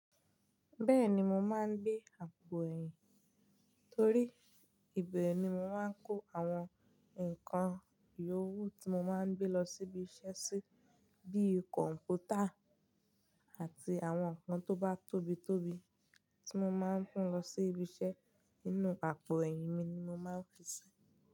Bẹ́ẹ̀ni mo máa ń gbé àpò ẹ̀yìn torí ibẹ̀ ni mo máa ń kó àwọn nǹkan ìyè owó tí mo máa ń gbé lọ síbi iṣẹ́ sí, bíi kọ̀m̀pútà àti àwọn nǹkan tó bá tóbi tóbi tí mo máa ń gbé lọ sí ibi iṣẹ́ nínú àpò ẹ̀yìn mi ni mo máa ń fi sí.